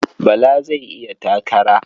Bala zai yi takara.